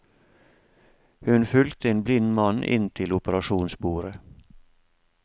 Hun fulgte en blind mann inn til operasjonsbordet.